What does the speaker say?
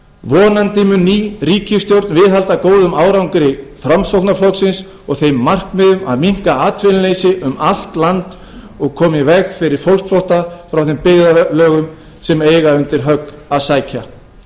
vonandi mun ný ríkisstjórn viðhalda góðum árangri framsóknarflokksins og þeim markmiðum að minnka atvinnuleysi um allt land og koma í veg fyrir fólksflótta frá þeim byggðarlögum sem eiga undir högg að sækja